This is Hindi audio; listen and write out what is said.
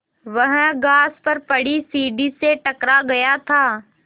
वह घास पर पड़ी सीढ़ी से टकरा गया था